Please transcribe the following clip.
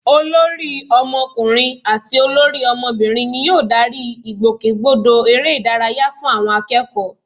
Olórí ọmọkùnrin àti olórí ọmọbìnrin ni yóò darí ìgbòkègbodò eré ìdárayá fún àwọn akẹ́kọ̀ọ́